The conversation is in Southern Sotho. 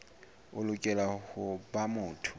o lokela ho ba motho